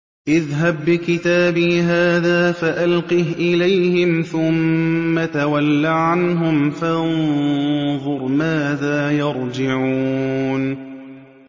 اذْهَب بِّكِتَابِي هَٰذَا فَأَلْقِهْ إِلَيْهِمْ ثُمَّ تَوَلَّ عَنْهُمْ فَانظُرْ مَاذَا يَرْجِعُونَ